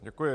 Děkuji.